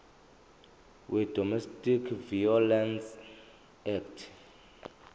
wedomestic violence act